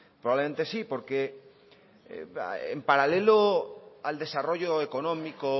probablemente sí porque en paralelo al desarrollo económico